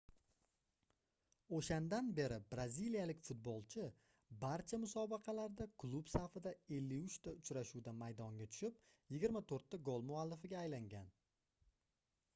oʻshandan beri braziliyalik futbolchi barcha musobaqalarda klub safida 53 ta uchrashuvda maydonga tushib 24 ta gol muallifiga aylangan